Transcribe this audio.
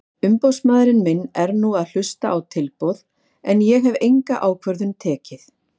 Umboðsmaður minn er nú að hlusta á tilboð en ég hef enga ákvörðun tekið.